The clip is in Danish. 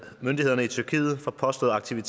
til